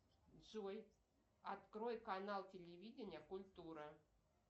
джой открой канал телевидения культура